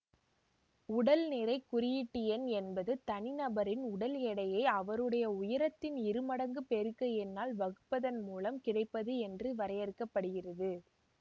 உடல் நிறை குறியீட்டெண் என்பது தனிநபரின் உடல் எடையை அவருடைய உயரத்தின் இருமடங்கு பெருக்க எண்ணால் வகுப்பதன் மூலம் கிடைப்பது என்று வரையறுக்க படுகிறது